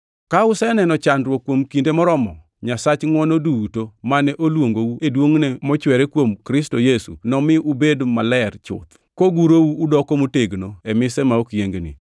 Ka useneno chandruok kuom kinde moromo, Nyasach ngʼwono duto, mane oluongou e duongʼne mochwere kuom Kristo Yesu, nomi ubed maler chuth, kogurou udoko motegno e mise ma ok yiengni.